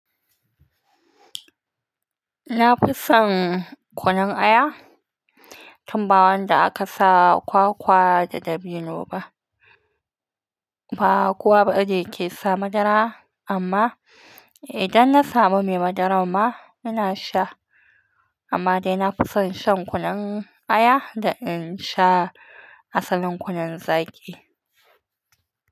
Na fi son kunun aya, tun ba wanda aka sa kwakwa da dabino ba. Ba kowa ba ne ke sa madara amma idan na samu mai madaran ma ina sha. Amma dai na fi son shan kunun aya da in sha asalin kunun zaki.